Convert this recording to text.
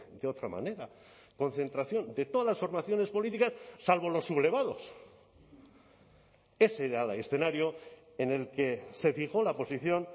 de otra manera concentración de todas las formaciones políticas salvo los sublevados ese era el escenario en el que se fijó la posición